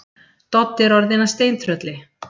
Doddi er orðinn að steintrölli.